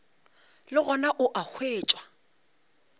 le gona o a hwetšwa